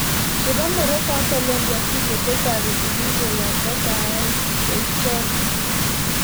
Chobe Morroco ak Colombia video che tareti biik koyakto saet che icheek